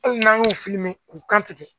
hali n'an y'u k'u kantigɛ